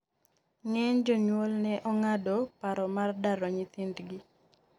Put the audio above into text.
ng'eny jonyuol ne ong'ado paro mar daro nyithindgi